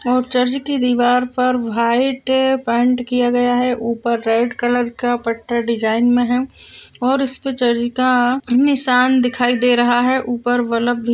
और चर्च की दीवार पर व्हाइट पेंट किया गया है ऊपर रेड कलर का पट्टा डिज़ाइन में है और उसपे चर्च का नीसान दिखाई दे रहा है। ऊपर बल्ब भी --